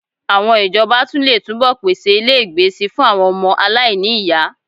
Àwọn ìjọba tún lè túbọ̀ pèsè ilégbèé síi fún àwọn ọmọ aláìní ìyá